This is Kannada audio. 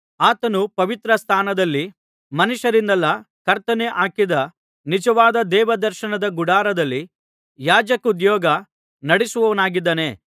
ಆತನು ಪವಿತ್ರ ಸ್ಥಾನದಲ್ಲಿ ಮನುಷ್ಯರಿಂದಲ್ಲ ಕರ್ತನೇ ಹಾಕಿದ ನಿಜವಾದ ದೇವದರ್ಶನ ಗುಡಾರದಲ್ಲಿ ಯಾಜಕೋದ್ಯೋಗ ನಡಿಸುವವನಾಗಿದ್ದಾನೆ